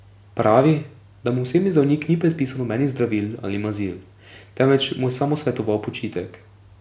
Pravi, da mu osebni zdravnik ni predpisal nobenih zdravil ali mazil, temveč mu je samo svetoval počitek.